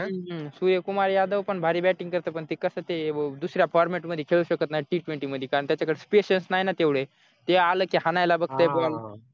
सूर्य कुमार यादव पण भारी bating पण ते कसं ते दुसऱ्या format मध्ये खेळू शकत नाही t twenty मध्ये कारण त्याच्याकडे Patience नाही ना तेवढे ते आलं की हाणायला बघतय